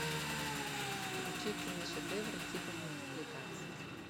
включи киношедевр типа мультипликации